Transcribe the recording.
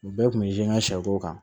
U bɛɛ kun bɛ n ka sɛko kan